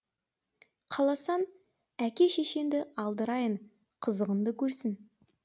қаласаң әке шешеңді алдырайын қызығыңды көрсін